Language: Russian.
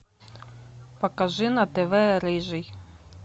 покажи на тв рыжий